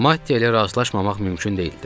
Mattia ilə razılaşmamaq mümkün deyildi.